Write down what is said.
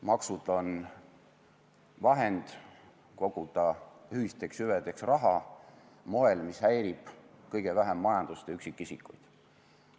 Maksud on vahend, kuidas koguda ühisteks hüvedeks raha moel, mis häirib kõige vähem majandust ja üksikisikuid.